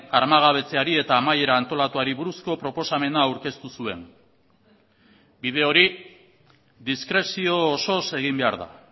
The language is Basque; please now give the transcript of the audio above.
armagabetzeari eta amaiera antolatuari buruzko proposamena aurkeztu zuen bide hori diskrezio osoz egin behar da